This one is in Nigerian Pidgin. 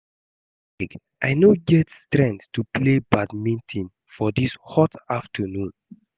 Abeg I no get strength to play badminton for dis hot afternoon